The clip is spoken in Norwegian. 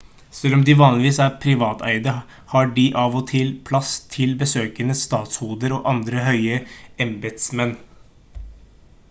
selv om de vanligvis er privateide har de av og til plass til besøkende statshoder og andre høye embetsmenn